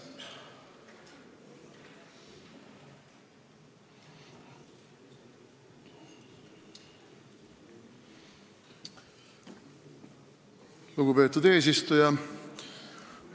Lugupeetud eesistuja!